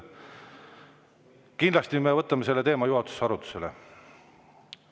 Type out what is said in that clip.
Kindlasti me võtame selle teema juhatuses arutusele.